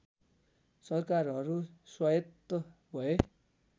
सरकारहरू स्वायत्त भए